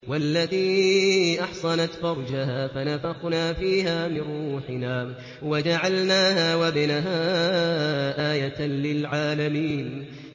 وَالَّتِي أَحْصَنَتْ فَرْجَهَا فَنَفَخْنَا فِيهَا مِن رُّوحِنَا وَجَعَلْنَاهَا وَابْنَهَا آيَةً لِّلْعَالَمِينَ